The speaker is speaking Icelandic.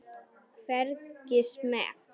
Hvergi smeyk.